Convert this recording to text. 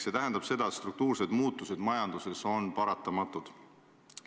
See tähendab seda, et struktuursed muutused majanduses on paratamatud.